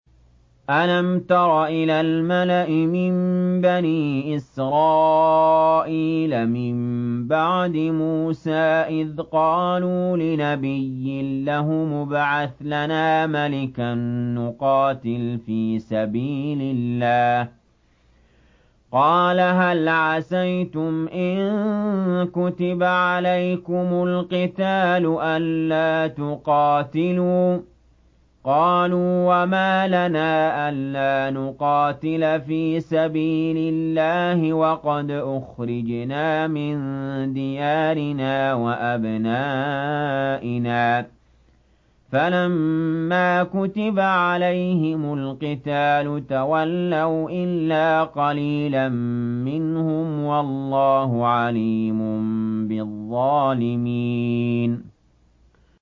أَلَمْ تَرَ إِلَى الْمَلَإِ مِن بَنِي إِسْرَائِيلَ مِن بَعْدِ مُوسَىٰ إِذْ قَالُوا لِنَبِيٍّ لَّهُمُ ابْعَثْ لَنَا مَلِكًا نُّقَاتِلْ فِي سَبِيلِ اللَّهِ ۖ قَالَ هَلْ عَسَيْتُمْ إِن كُتِبَ عَلَيْكُمُ الْقِتَالُ أَلَّا تُقَاتِلُوا ۖ قَالُوا وَمَا لَنَا أَلَّا نُقَاتِلَ فِي سَبِيلِ اللَّهِ وَقَدْ أُخْرِجْنَا مِن دِيَارِنَا وَأَبْنَائِنَا ۖ فَلَمَّا كُتِبَ عَلَيْهِمُ الْقِتَالُ تَوَلَّوْا إِلَّا قَلِيلًا مِّنْهُمْ ۗ وَاللَّهُ عَلِيمٌ بِالظَّالِمِينَ